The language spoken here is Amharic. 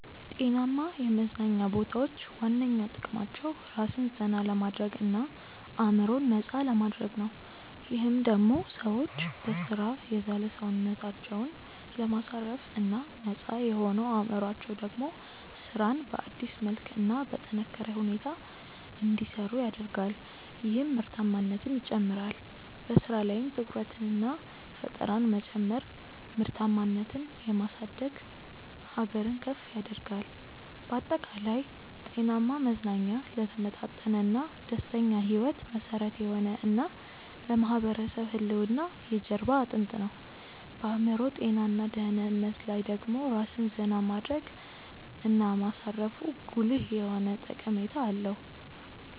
ጤናማ የመዝናኛ ቦታዎች ዋነኛ ጥቅማቸው ራስን ዘና ለማድረግ እና አዕምሮን ነፃ ለማድረግ ነው። ይህም ደሞ ሰዎች በሥራ የዛለ ሰውነታቸውን ለማሳረፍ እና ነፃ የሆነው አዕምሮአቸው ደሞ ስራን በአዲስ መልክ እና በጠነካረ ሁኔታ እንዲሰሩ ያደርጋል ይህም ምርታማነትን ይጨምራል። በሥራ ላይም ትኩረትንና ፈጠራን መጨመር ምርታማነትን የማሳደግ ሀገርን ከፍ ያደርጋል። ባጠቃላይ፣ ጤናማ መዝናኛ ለተመጣጠነና ደስተኛ ሕይወት መሠረት የሆነ እና ለማህበረሰብ ህልውና የጀርባ አጥንት ነው። በአዕምሮ ጤና እና ደህንነት ላይ ደሞ ራስን ዜና ማድረግ እና ማሳረፉ ጉልህ የሆነ ጠቀሜታ አለው።